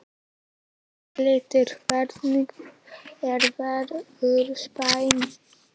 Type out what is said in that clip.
Borghildur, hvernig er veðurspáin?